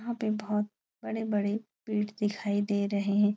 यहाँ पे बहोत बड़े- बड़े पेड़ दिखाई दे रहे --